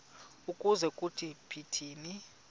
ukuze kuthi phithi